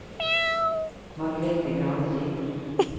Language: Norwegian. Margrethe Granli